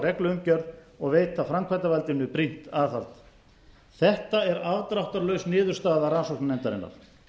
regluumgjörð og veita framkvæmdarvaldinu brýnt aðhald þetta er afdráttarlaus niðurstaða rannsóknarnefndarinnar